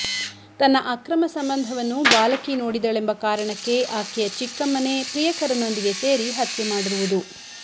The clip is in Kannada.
ತನ್ನ ಅಕ್ರಮ ಸಂಬಂಧವನ್ನು ಬಾಲಕಿ ನೋಡಿದಳೆಂಬ ಕಾರಣಕ್ಕೆ ಆಕೆಯ ಚಿಕ್ಕಮ್ಮನೇ ಪ್ರಿಯಕರನೊಂದಿಗೆ ಸೇರಿ ಹತ್ಯೆ ಮಾಡಿರುವುದು